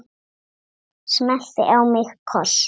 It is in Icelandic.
Smellti á mig kossi.